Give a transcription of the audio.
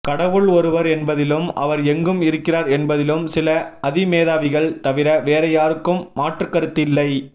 கடவுள் ஒருவர் என்பதிலும் அவர் எங்கும் இருக்கிறார் என்பதிலும் சில அதிமேதாவிகள் தவிற வேறு யாருக்கும் மாற்றுக்கருத்து இல்லை